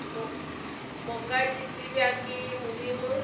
moka di tsebja ke modimo